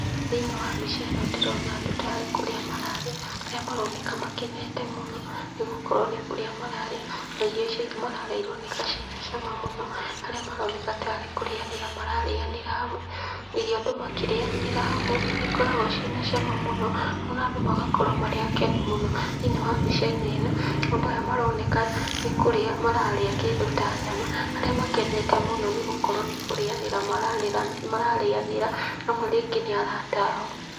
Thĩiniĩ wa mbica ĩno ndĩrona andũ tarĩ kũrĩa mararĩa arĩa maroneka makenete mũno nĩgũkorũo nĩ kũrĩa mararĩa na irio icio mararĩa ironeka ci na cama mũno arĩa maroneka tarĩ kũrĩanĩra mararĩanĩra hamwe. Irio andũ makĩrĩanĩra hamwe nĩ ikoragũo cina cama mũno na andũ magakorũo marĩ akenu mũno, thĩiniĩ wa mbicainĩ ĩno, andũ aya maroneka nĩ kũrĩa mararĩa kĩndũ ta nyama arĩa makenete mũno nĩ gũkorũo ni kũrĩanĩra mararĩanĩra amwe rĩngĩ nĩ arata ao.